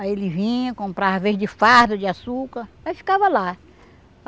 Aí ele vinha, comprava, às vezes, de fardo de açúcar, aí ficava lá.